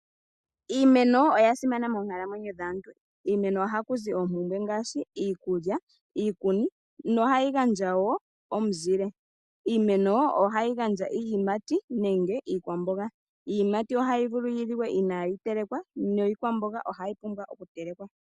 Iimeno oya simana moonkalamwenyo dhaantu. Kiimeno ohaku zi iinima ngaashi iikulya niikuni. Ohayi gandja wo omuzile. Iimeno ohayi gandja iiyimati nenge iikwamboga. Iiyimati ohayi vulu okuliwa inaayi telekwa niikwamboga ohayi pumbwa okutelekwa.